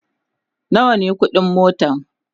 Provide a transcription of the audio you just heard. nawa ne ƙuɗin motan?